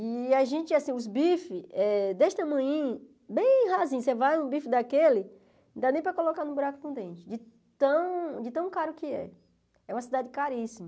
E a gente, assim, os bifes, desse tamanhinho, bem rasinho, você vai num bife daquele, não dá nem para colocar num buraco de um dente, de tão caro que é. É uma cidade caríssima.